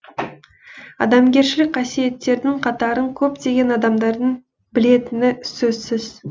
адамгершілік қасиеттердің қатарын көптеген адамдардың білетіні сөзсіз